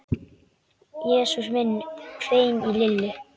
Jesús minn hvein í Lillu.